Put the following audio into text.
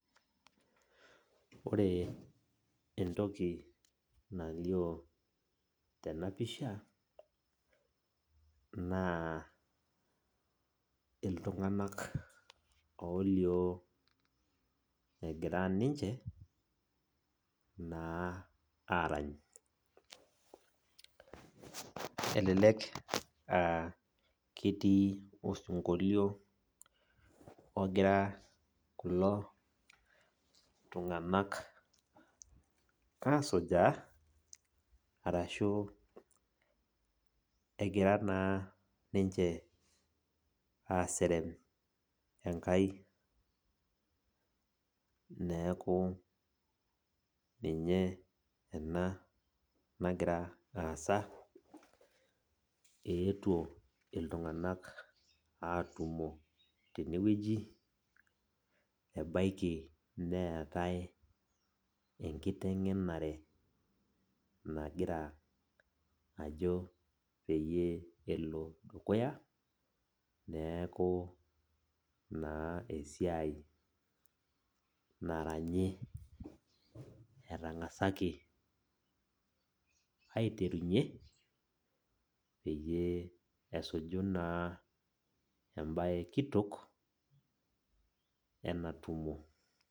Ore entoki nalio tenapisha, naa iltung'anak olio egira ninche, naa arany. Elelek ah ketii osinkolio ogira kulo tung'anak asujaa, arashu egira naa ninche aserem Enkai. Neeku ninye ena nagira aasa, eetuo iltung'anak atumo tenewueji, ebaiki neetae enkiteng'enare nagira ajo peyie elo dukuya, neeku naa esiai naranyi etang'asaki aiterunye, peyie esuju naa ebae kitok, ena tumo.